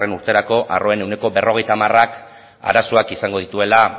urterako arroen ehuneko berrogeita hamarak arazoak izango dituela